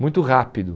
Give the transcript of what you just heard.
Muito rápido.